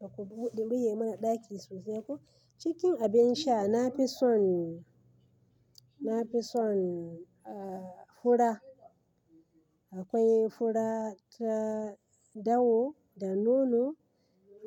Ba ku buɗe mana ɗaki sosai ko. Cikin abin sha, na fi son, na fi son, ah, fura. Akwai fura ta dawo da nono.